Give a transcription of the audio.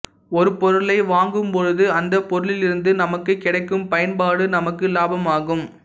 ஒரு பொருளை வாங்கும் பொழுது அந்தப் பொருளிலிருந்து நமக்குக் கிடைக்கும் பயன்பாடு நமக்கு லாபமாகும்